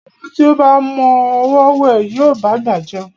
Ọmọ tí ó ba mọ ọwọ́ wẹ̀, yóò bá'gbà jẹun.